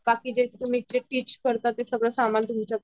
बाकी जे तुम्ही जे टिच करतात ते सगळ सामान तुमच्या